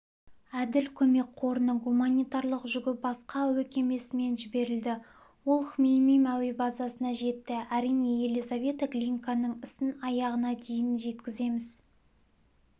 әділ көмек қорының гуманитарлық жүгі басқа әуе кемесімен жіберілді ол хмеймим әуе базасына жетті әрине елизавета глинканың ісін аяғына дейін жеткіземіз